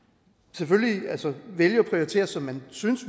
selvfølgelig vælge at prioritere som man synes